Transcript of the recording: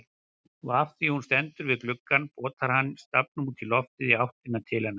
Og afþvíað hún stendur við gluggann potar hann stafnum útí loftið í áttina til hennar.